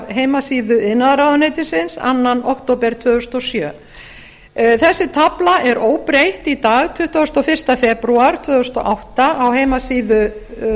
heimasíðu iðnaðarráðuneytisins annars október tvö þúsund og sjö þessi tafla er óbreytt í dag tuttugasta og fyrsta febrúar tvö þúsund og átta á heimasíðu